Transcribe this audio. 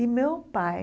E meu pai,